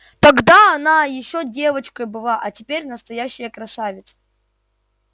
тогда она ещё девочкой была а теперь настоящая красавица